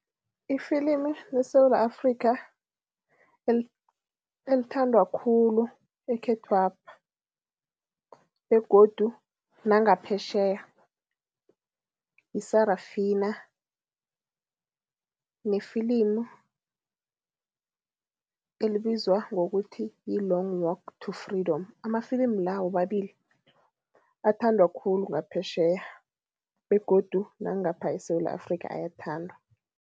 Ifilimi leSewula Afrika elithandwa khulu ekhethwapha begodu nangaphetjheya, yi-Sarafina nefilimu elibizwa ngokuthi yi-Long Walk to Freedom. Amafilimi la womabili, athandwa khulu ngaphetjheya begodu nangapha eSewula Afrika ayathandwa.